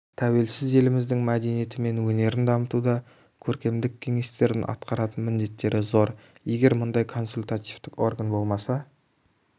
тәуелсіз еліміздің мәдениеті мен өнерін дамытуда көркемдік кеңестердің атқаратын міндеттері зор егер мұндай консультативтік орган болмаса